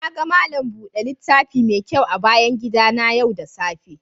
Na gan malam bude littafi mai kyau a bayan gida na yau da safe.